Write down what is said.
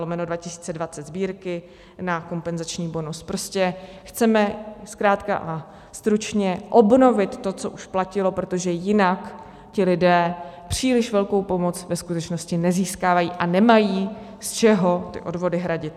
Prostě chceme zkrátka a stručně obnovit to, co už platilo, protože jinak ti lidé příliš velkou pomoc ve skutečnosti nezískávají a nemají, z čeho ty odvody hradit.